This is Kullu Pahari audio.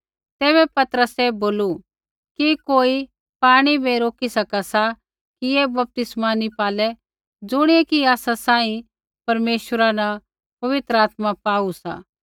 तैबै पतरसै बोलू कि कोई पाणी बै रोकी सका सा कि ऐ बपतिस्मा नी पालै ज़ुणियै कि आसा सांही परमेश्वरा न पवित्र आत्मा पाऊ सा